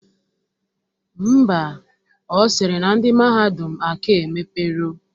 Ḿbà, Ọ sịrị na ndị mahadum aka emepero